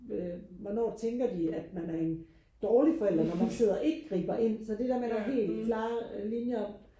hvornår tænker de at man er en dårlig forældre når man sidder og ikke griber ind så det der med at der er helt klare linjer